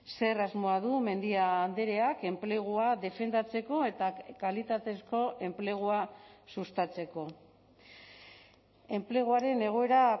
zer asmoa du mendia andreak enplegua defendatzeko eta kalitatezko enplegua sustatzeko enpleguaren egoera